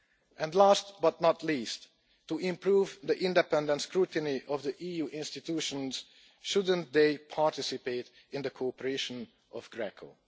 And last but not least, to improve the independent scrutiny of the EU institutions, shouldn't they participate in the cooperation of GRECO?